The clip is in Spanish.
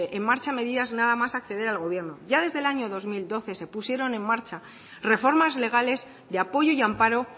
en marcha medidas nada más acceder al gobierno ya desde el año dos mil doce se pusieron en marcha reformas legales de apoyo y amparo